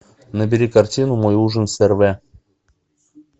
набери картину мой ужин с эрве